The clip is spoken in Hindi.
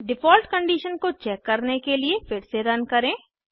डिफॉल्ट कंडिशन को चेक करने के लिए फिर से रन करें